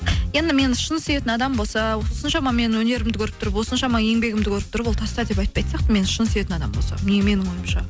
енді мені шын сүйетін адам болса осыншама менің өнерімді көріп тұрып осыншама еңбегімді көріп тұрып ол таста деп айтпайтын сияқты мені шын сүйетін адам болса менің ойымша